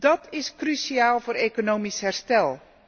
Dat is cruciaal voor economisch herstel.